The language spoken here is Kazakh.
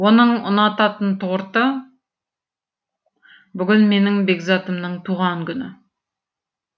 оның ұнататын торты бүгін менің бекзатымның туған күні